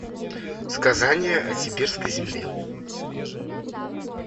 сказание о сибирской земле